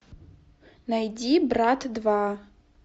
найди брат два